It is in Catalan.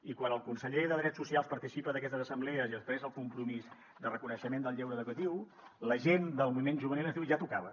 i quan el conseller de drets socials participa d’aquestes assemblees i expressa el compromís de reconeixement del lleure educatiu la gent del moviment juvenil ens diu ja tocava